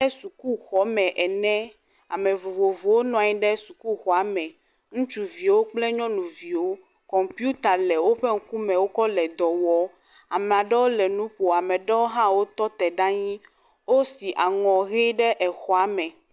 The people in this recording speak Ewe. Abe sukuxɔme ene. Ame vovovowo nɔ anyi ɖe suuxɔame. Ŋutsuviwo kple nyɔnuviwo, kɔmpita le woƒe ŋkume wokɔ le dɔ wɔ. Ame aɖewo le nu ƒom. Ame aɖewo hã wotɔ te ɖe anyi. Wosi aŋɔ ʋi ɖe exɔa me.